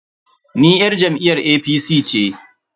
Ni yar jam'iyyar APC ce.